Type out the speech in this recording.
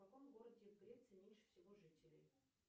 в каком городе греции меньше всего жителей